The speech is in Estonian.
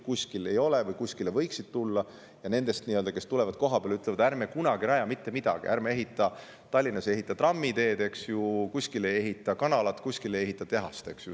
Kui öeldakse, et tuulikud võiksid kuskile tulla, siis neid, kes tulevad kohapeale ja ütlevad, et ärme kunagi rajame mitte midagi, ärme ehitame Tallinnas trammiteed, eks ju, ärme kuskile ehitame kanalat ega kuhugi tehast.